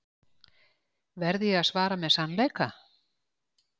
Verð ég að svara með sannleika?